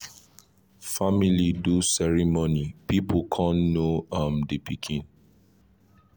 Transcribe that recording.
family do ceremony people con know um d pikin